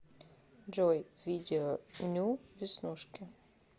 джой видео ню веснушки